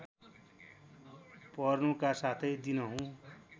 पर्नुका साथै दिनहुँ